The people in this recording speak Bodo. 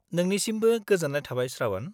-नोंनिसिमबो गोजोन्नाय थाबाय, श्रावण।